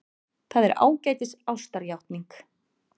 Það er ágætis ástarjátning.